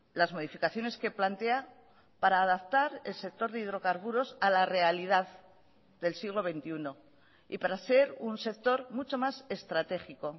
las modificaciones que plantea para adaptar el sector de hidrocarburos a la realidad del siglo veintiuno y para ser un sector mucho más estratégico